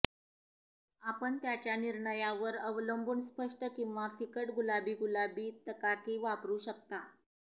आपण त्याच्या निर्णयावर अवलंबून स्पष्ट किंवा फिकट गुलाबी गुलाबी तकाकी वापरू शकता